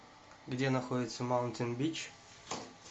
где находится маунтин бич